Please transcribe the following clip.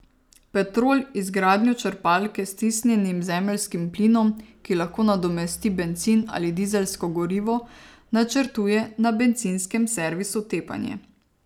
Petrol izgradnjo črpalke s stisnjenim zemeljskim plinom, ki lahko nadomesti bencin ali dizelsko gorivo, načrtuje na bencinskem servisu Tepanje.